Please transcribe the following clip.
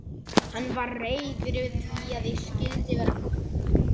Hann var reiður yfir því að ég skyldi vera komin suður.